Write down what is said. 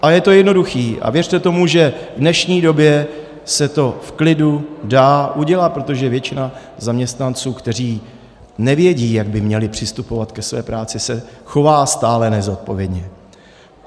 A je to jednoduché a věřte tomu, že v dnešní době se to v klidu dá udělat, protože většina zaměstnanců, kteří nevědí, jak by měli přistupovat ke své práci, se chová stále nezodpovědně.